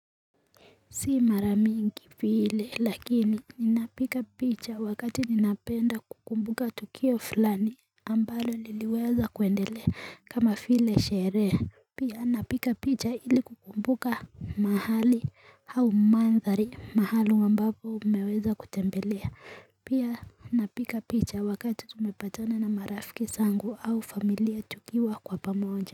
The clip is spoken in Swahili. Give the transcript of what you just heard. Si mara mingi vile lakini ninapiga picha wakati ninapenda kukumbuka tukio fulani ambalo liliweza kuendelea kama vile sherehe Pia napiga picha ili kukumbuka mahali au mandhari maalum ambapo umeweza kutembelea Pia napiga picha wakati tumepatana na marafiki zangu au familia tukiwa kwa pamoja.